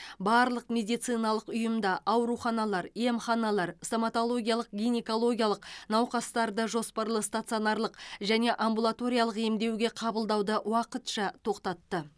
барлық медициналық ұйымда ауруханалар емханалар стоматологиялық гинекологиялық науқастарды жоспарлы стационарлық және амбулаториялық емдеуге қабылдауды уақытша тоқтатты